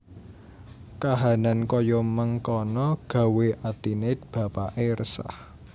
Kahanan kaya mengkana gawé atine bapakke resah